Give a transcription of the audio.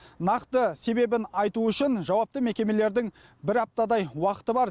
нақты себебін айту үшін жауапты мекемелердің бір аптадай уақыты бар